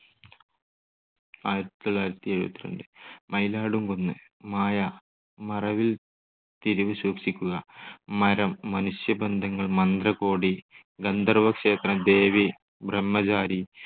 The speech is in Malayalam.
ആയിരത്തി തൊള്ളായിരത്തി എഴുപത്തിരണ്ട്, മയിലാടും കുന്ന്, മായ, മറവിൽ തിരിവ് സൂക്ഷിക്കുക, മരം, മനുഷ്യബന്ധങ്ങൾ, മന്ത്രകോടി, ഗന്ധർവ്വക്ഷേത്രം, ദേവി, ബ്രഹ്മചാരി